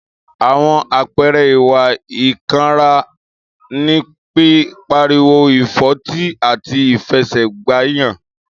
Àwon àpẹẹrẹ ìwá ìkànrá ní, pi pàríwó, ìfọtí àtí ìfẹsé gbàyàn.